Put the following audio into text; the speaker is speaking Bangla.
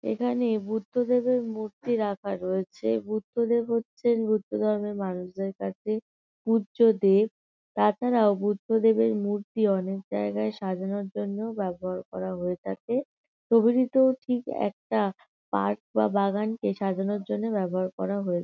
এখানে বুদ্ধদেবের মূর্তি রাখা রয়েছে। বুদ্ধদেব হচ্ছেন বুদ্ধধর্মের মানুষদের কাছে পূজ্য দেব। তাছাড়াও বুদ্ধদেবের মূর্তি অনেক জায়গায় সাজানোর জন্যও ব্যাবহার করা হয়ে থাকে। ছবিটিতেও ঠিক একটা পার্ক বা বাগানকে সাজানোর জন্যে ব্যবহার করা হয়ে--